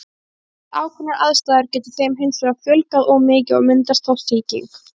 Við ákveðnar aðstæður getur þeim hins vegar fjölgað of mikið og myndast þá sýking.